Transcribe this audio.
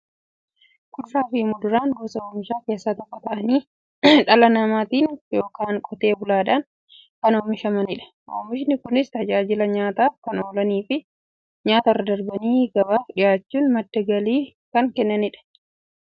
Kuduraafi muduraan gosa oomishaa keessaa tokko ta'anii, dhala namaatin yookiin Qotee bulaadhan kan oomishamaniidha. Oomishni Kunis, tajaajila nyaataf kan oolaniifi nyaatarra darbanii gabaaf dhiyaachuun madda galii kan kennaniidha. Akkasumas nyaataf yeroo oolan, albuuda gosa adda addaa waan qabaniif, fayyaaf barbaachisoodha.